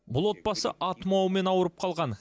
бұл отбасы а тұмауымен ауырып қалған